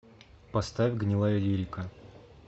поставь гнилаялирика